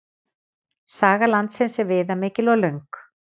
Saga landsins er viðamikil og löng.